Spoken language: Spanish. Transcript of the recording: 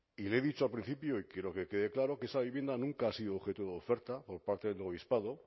y le he dicho al principio y quiero que quede claro que esa vivienda nunca ha sido objeto de oferta por parte del obispado